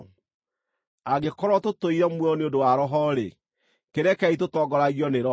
Angĩkorwo tũtũire muoyo nĩ ũndũ wa Roho-rĩ, kĩrekei tũtongoragio nĩ Roho.